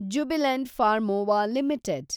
Jubilant Pharmova limited